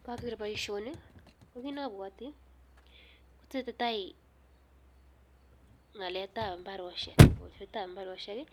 Ngageer boisioni ko kit ne abwoti kotesetai ngaletab imbaarosiek